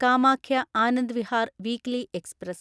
Kamakhya Anand Vihar weekly express